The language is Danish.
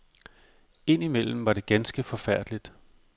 Indimellem var det ganske forfærdeligt.